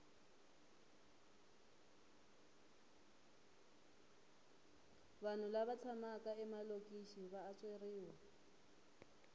vanhu lava tshamaka emalokixi va antsweriwa